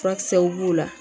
Furakisɛw b'o la